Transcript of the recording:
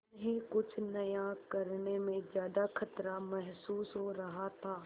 उन्हें कुछ नया करने में ज्यादा खतरा महसूस हो रहा था